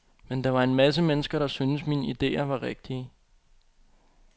Men der var en masse mennesker, der syntes, mine ideer var rigtige.